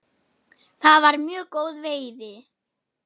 Það var mjög góð veiði.